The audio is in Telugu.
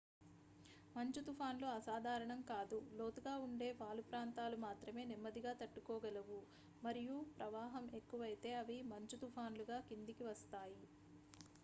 మంచు తుఫాన్లు అసాధారణం కాదు లోతుగా ఉండే వాలు ప్రాంతాలు మాత్రమే నెమ్మదిగా తట్టుకోగలవు మరియు ప్రవాహం ఎక్కువైతే అవి మంచు తుఫాన్లుగా కిందకి వస్తాయి